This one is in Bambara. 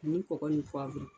Nin kɔgɔ nin